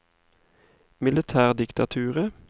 militærdiktaturet